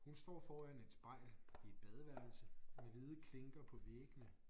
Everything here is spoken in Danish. Hun står foran et spejl i et badeværelse med hvide klinker på væggene